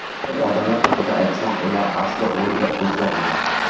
Odamlar haqida aytsam, ular aslo o‘zgarmagan.